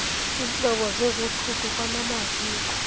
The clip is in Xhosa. iintlobo zezothutho kwanamaziko